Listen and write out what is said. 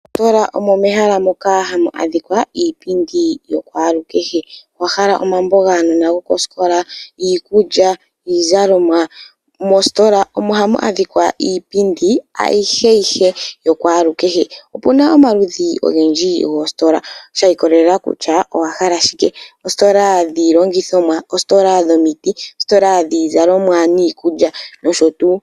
Moositola omo mehala moka hamu adhika iipindi yakwalukehe. Owa hala omambo gaanona gokosikola, iikulya, iizalomwa? Moositola omo hamu adhika iipindi ayiheyihe yakwalukehe. Opu na omaludhi ogendji goositola shi ikolelela kutya owa hala shike. Oositola dhiilangithomwa, oositola dhomiti, oositola dhiizalomwa niikulya nosho tuu.